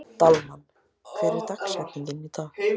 Dalmann, hver er dagsetningin í dag?